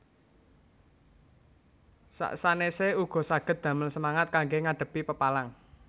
Sak sanèsé uga saged damel semangat kanggé ngadhepi pepalang